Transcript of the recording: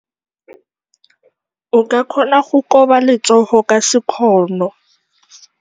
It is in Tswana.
O ka kgona go koba letsogo ka sekgono.